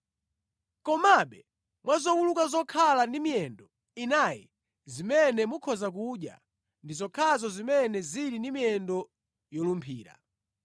Komabe mwa zowuluka zokhala ndi miyendo inayi zimene mukhoza kudya ndi zokhazo zimene zili ndi miyendo yolumphira.